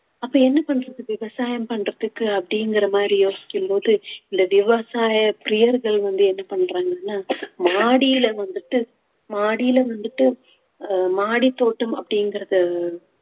அப்ப என்ன பண்றது விவசாயம் பண்றதுக்கு அப்படிங்கிற மாதிரி யோசிக்கும் போது இந்த விவசாய பிரியர்கள் வந்து என்ன பண்றாங்கன்னா மாடியில வந்துட்டு மாடியில வந்துட்டு மாடித்தோட்டம் அப்படிங்கறது